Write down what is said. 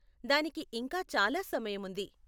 దానికి ఇంకా చాలా సమయముంది.